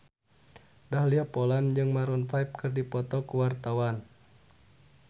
Dahlia Poland jeung Maroon 5 keur dipoto ku wartawan